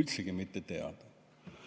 üldsegi mitte teada.